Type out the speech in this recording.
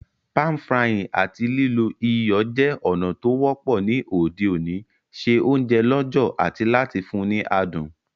Pan-frying áti lílo iyọ̀ je ònà to wọ́pọ́ ni òde òní se ounje lọ̀jọ̀ ati láti fun ni adùn